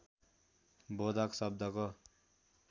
बोधक शब्दको